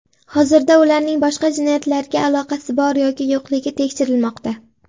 Hozirda ularning boshqa jinoyatlarga aloqasi bor yoki yo‘qligi tekshirilmoqda.